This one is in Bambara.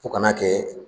Fo ka n'a kɛ